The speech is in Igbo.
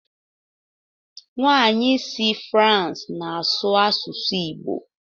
Nwanyị si France na-asụ asụsụ igbo.